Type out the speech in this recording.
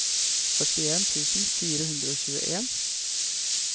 førtien tusen fire hundre og tjueen